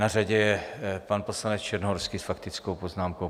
Na řadě je pan poslanec Černohorský s faktickou poznámkou.